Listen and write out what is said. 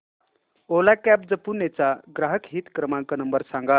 ओला cabs Pune चा ग्राहक हित क्रमांक नंबर सांगा